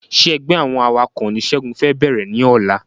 Ṣé ẹgbẹ́ àwọn awakọ̀ ni segun fẹ bẹ̀rẹ̀ ní ọ̀la